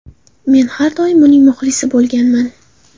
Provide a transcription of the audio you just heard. Men har doim uning muxlisi bo‘lganman”.